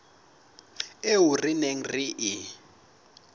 eo re neng re e